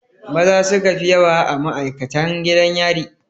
Maza suka fi yawa a ma'aikatan gidan yari.